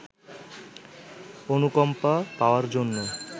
অনুকম্পা পাওয়ার জন্য